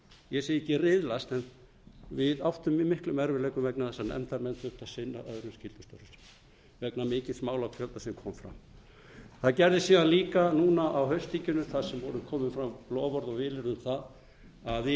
ég segi ekki riðlast en við áttum í miklum erfiðleikum vegna þess að nefndarmenn þurftu að sinna öðrum skyldustörfum vegna mikils málafjölda sem koma fram það gerðist síðan líka núna á haustþinginu þar sem komu fram loforð og vilyrði um að við